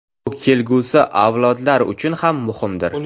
Bu kelgusi avlodlar uchun ham muhimdir.